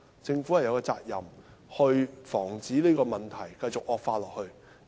政府有責任防止這問題繼續惡化。